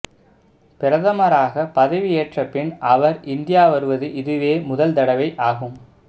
பிரதமராக பதவி ஏற்ற பின் அவர் இந்தியா வருவது இதுவே முதல் தடவை ஆகும்